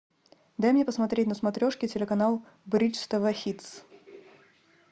дай мне посмотреть на смотрешке телеканал бридж тв хитс